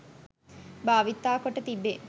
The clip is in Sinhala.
භාවිතා කොට තිබේ.